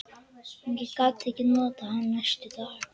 Ég gat ekkert notað hann næstu daga.